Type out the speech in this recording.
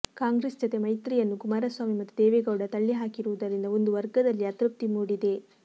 ಕಾಂಗ್ರೆಸ್ ಜತೆ ಮೈತ್ರಿಯನ್ನು ಕುಮಾರಸ್ವಾಮಿ ಮತ್ತು ದೇವೇಗೌಡ ತಳ್ಳಿಹಾಕಿರುವುದರಿಂದ ಒಂದು ವರ್ಗದಲ್ಲಿ ಅತೃಪ್ತಿ ಮೂಡಿದೆ